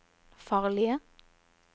farlige